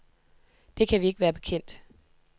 Det kan vi ikke være bekendt.